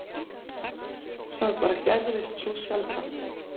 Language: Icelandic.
Það bara gerðist svo sjaldan.